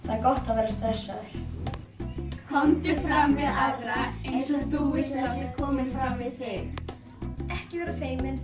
er gott að vera stressaður komdu fram við aðra eins og þú vilt að sé komið fram við þig ekki vera feimin